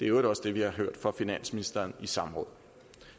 øvrigt også det vi har hørt fra finansministeren i samråd